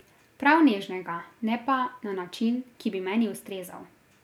Prav nežnega, ne pa na način, ki bi meni ustrezal.